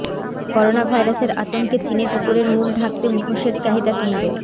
corona ভাইরাসের আতঙ্কে চিনে কুকুরের মুখ ঢাকতে মুখোশের চাহিদা তুঙ্গে